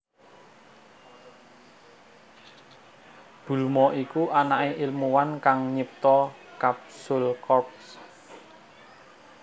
Bulma iku anaké ilmuwan kang nyipta Capsule Corp